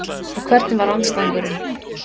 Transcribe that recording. Og hvernig var andstæðingurinn?